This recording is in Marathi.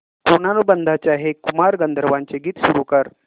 ऋणानुबंधाच्या हे कुमार गंधर्वांचे गीत सुरू कर